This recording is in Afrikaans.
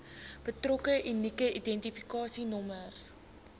betrokke unieke identifikasienommer